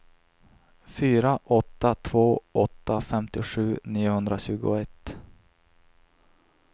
fyra åtta två åtta femtiosju niohundratjugoett